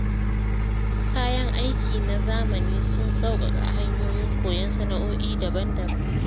Kayan aiki na zamani sun sauƙaƙa hanyoyin koyon sana’o’i daban-daban.